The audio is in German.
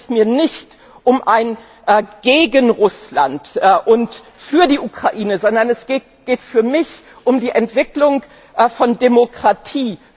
Dabei geht es mir nicht um ein Gegen Russland und Für die Ukraine, sondern es geht für mich um die Entwicklung von Demokratie.